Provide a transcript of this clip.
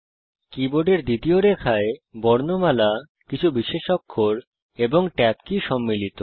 কীবোর্ডের দ্বিতীয় রেখায় বর্ণমালা কিছু বিশেষ অক্ষর এবং ট্যাব কী সম্মিলিত